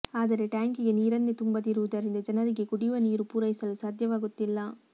ಆದರೆ ಟ್ಯಾಂಕಿಗೆ ನೀರನ್ನೆ ತುಂಬದಿರುವುದರಿಂದ ಜನರಿಗೆ ಕುಡಿಯುವ ನೀರು ಪೂರೈಸಲು ಸಾಧ್ಯವಾಗುತ್ತಿಲ್ಲ